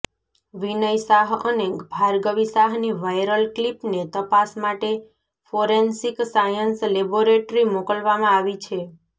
વિનય શાહ અને ભાર્ગવી શાહની વાયરલ ક્લિપને તપાસ માટે ફોરેન્સિક સાયન્સ લેબોરેટરી મોકલવામાં આવી છે